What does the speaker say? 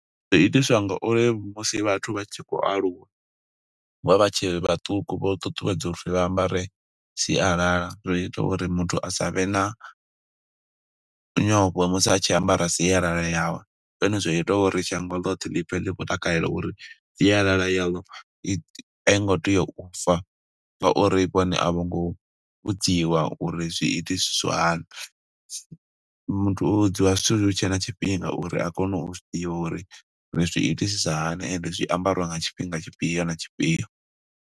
Zwi itiswa nga uri musi vhathu vha tshi khou aluwa, vho vha vha tshe vhaṱuku vho ṱuṱuwedzwa uri vha ambare sialala. Zwi ita uri muthu asavhe na nyofho musi a tshi ambara sialala yawe. Ndi zwone zwa ita uri shango ḽothe ḽi pfe ḽi khou takalela uri sialala yaḽo i a i ngo tea u fa, nga uri vhone a vho ngo vhudziwa uri zwi iti siswa hani. Muthu u vhudziwa zwithu hutshe na tshifhinga uri a kone u zwi ḓivha uri, ri zwi itisisa hani, ende zwi ambariwa nga tshifhinga tshifhio na tshifhio.